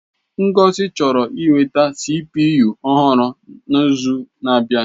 Ngozi chọrọ inweta CPU ọhụrụ n'izu na-abịa.